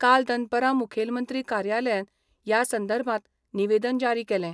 काल दनपरां मुखेलमंत्री कार्यालयान या संदर्भात निवेदन ज्यारी केलें.